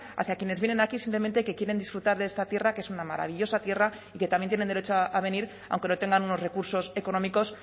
hacia quienes vienen aquí simplemente que quieren disfrutar de esta tierra que es una maravillosa tierra y que también tienen derecho a venir aunque no tengan unos recursos económicos